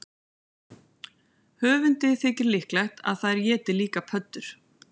Höfundi þykir líklegt að þær éti líka pöddur.